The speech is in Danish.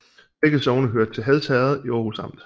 Begge sogne hørte til Hads Herred i Aarhus Amt